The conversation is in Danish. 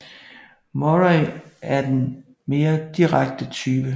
Murray er den mere direkte type